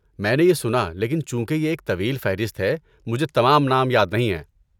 میں نے یہ سنا لیکن چونکہ یہ ایک طویل فہرست ہے، مجھے تمام نام یاد نہیں ہیں۔